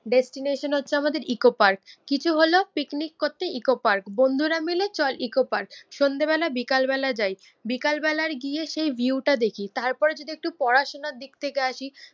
Destination হচ্ছে আমাদের eco park, কিছু হলো পিকনিক করতে ইকো পার্ক, বন্ধুরা মিলে চল ইকো পার্ক, সন্ধ্যেবেলা বিকেলবেলা যায়। বিকেলবেলার গিয়ে সেই ভিউটা দেখি তারপর যদি একটু পড়াশুনার দিক থেকে আসি